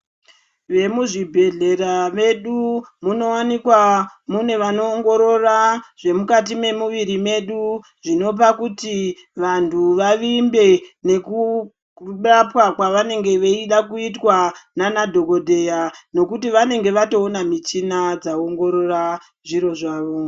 Vemuzvibhehlera medu munowanikwa mune vanoongorora zvemukati memuviri medu zvinopa kuti vantu vavimbe nekurapwa kwavanenge veida kuitwa nana dhokodheya nekuti vanenge vatoona michina dzaongorora zviro zvavo.